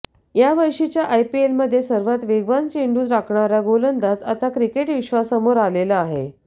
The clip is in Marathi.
या वर्षीच्या आयपीएलमध्ये सर्वात वेगवान चेंडू टाकणारा गोलंदाज आता क्रिकेट विश्वासमोर आलेला आहे